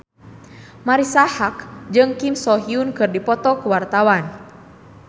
Marisa Haque jeung Kim So Hyun keur dipoto ku wartawan